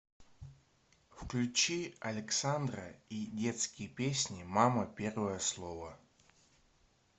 включи александра и детские песни мама первое слово